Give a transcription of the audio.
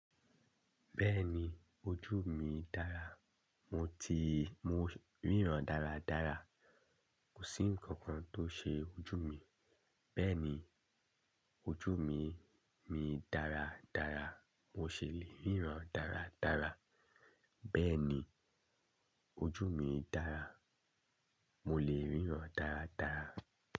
Bẹ́ẹ̀ni ojú mi dára, mo ti mo ríran dáradára. Kò sí nǹkan kan tó ṣe ojú mi, bẹ́ẹ̀ni ojú mi mi dáradára. Mo ṣì lè ríran dáradára. Bẹ́ẹ̀ni ojú mi dára, mo lè ríran dáradára.